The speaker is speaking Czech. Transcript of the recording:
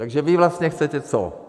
Takže vy vlastně chcete co?